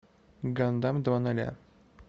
гандам два ноля